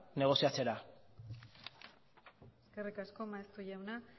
negoziatzera eskerrik asko maeztu jauna